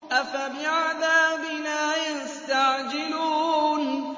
أَفَبِعَذَابِنَا يَسْتَعْجِلُونَ